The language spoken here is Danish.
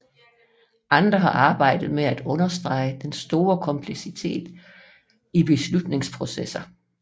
Andre har arbejdet med at understrege den store kompleksitet i beslutningsprocesser